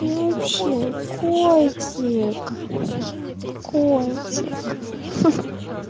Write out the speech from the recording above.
и вообще котик котик хи-хи